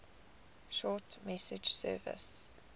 short message service